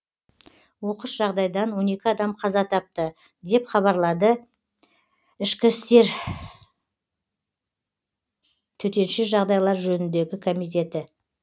оқыс жағдайдан он екі адам қаза тапты деп хабарлады ішкі істер төтенше жағдайлар жөніндегі комитеті